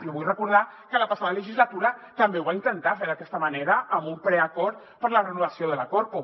i vull recordar que la passada legislatura també ho va intentar fer d’aquesta manera amb un preacord per a la renovació de la corpo